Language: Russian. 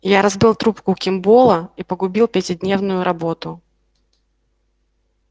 я разбил трубку кимболла и погубил пятидневную работу